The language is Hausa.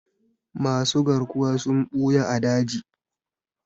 Masu garkuwa suna ɓuya a daji.